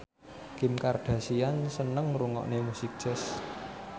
Kim Kardashian seneng ngrungokne musik jazz